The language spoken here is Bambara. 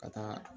Ka taa